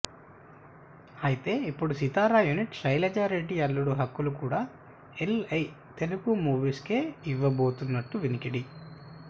అయితే ఇప్పుడు సితార యూనిట్ శైలజ రెడ్డి అల్లుడు హక్కులు కూడా ఎల్ఎ తెలుగు మూవీస్ కే ఇవ్వబోతున్నట్లు వినికిడి